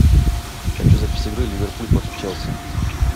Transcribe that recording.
хочу запись игры ливерпуль против челси